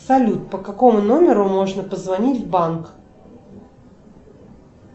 салют по какому номеру можно позвонить в банк